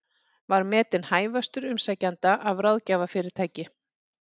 Var metinn hæfastur umsækjenda af ráðgjafarfyrirtæki